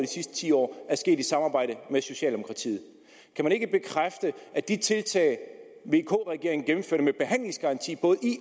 sidste ti år er sket i samarbejde med socialdemokratiet kan man ikke bekræfte at de tiltag vk regeringen gennemførte med behandlingsgaranti både